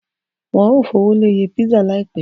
Wọ́n ó fowó lé iye písà láìpẹ́.